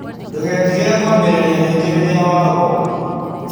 Ndũgetigĩre kwambĩrĩria rĩngĩ rĩrĩa wagũa.